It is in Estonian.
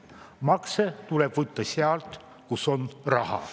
Makse tuleb võtta sealt, kus on raha.